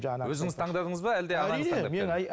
өзіңіз таңдадыңыз ба